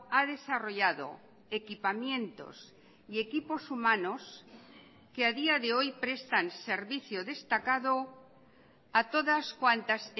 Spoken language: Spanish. ha desarrollado equipamientos y equipos humanos que a día de hoy prestan servicio destacado a todas cuantas